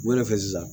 Wele fɛ sisan